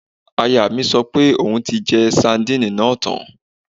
Ìyàwó mi sọ pé òun ti jẹ sadínìnì náà tán